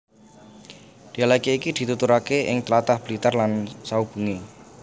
Dhialèk iki dituturake ing tlatah Blitar lan saubengé